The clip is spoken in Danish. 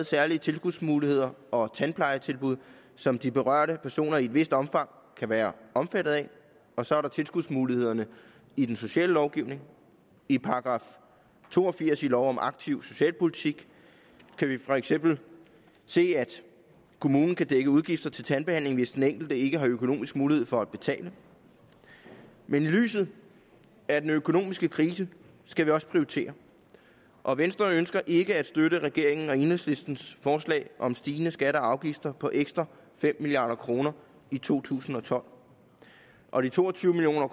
særlige tilskudsmuligheder og tandplejetilbud som de berørte personer i et vist omfang kan være omfattet af og så er der tilskudsmulighederne i den sociale lovgivning i § to og firs i lov om aktiv socialpolitik kan vi for eksempel se at kommunen kan dække udgifter til tandbehandling hvis den enkelte ikke har økonomisk mulighed for at betale men i lyset af den økonomiske krise skal vi også prioritere og venstre ønsker ikke at støtte regeringen og enhedslistens forslag om stigende skatter og afgifter på ekstra fem milliard kroner i to tusind og tolv og de to og tyve million